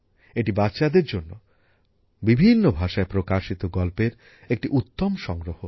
এটি বাচ্চাদের জন্য বিভিন্ন ভাষায় প্রকাশিত গল্পের একটি উত্তম সংগ্রহ